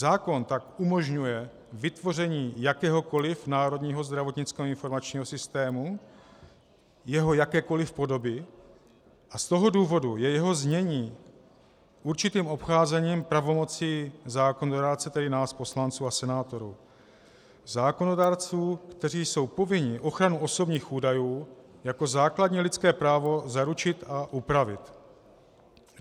Zákon tak umožňuje vytvoření jakéhokoliv Národního zdravotnického informačního systému, jeho jakékoliv podoby, a z toho důvodu je jeho znění určitým obcházením pravomocí zákonodárce, tedy nás poslanců a senátorů, zákonodárců, kteří jsou povinni ochranu osobních údajů jako základní lidské právo zaručit a upravit.